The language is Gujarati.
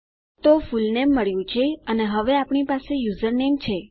તો ફુલનેમ મળ્યું છે અને હવે આપણી પાસે યુઝરનેમ છે